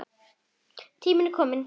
Tími til kominn.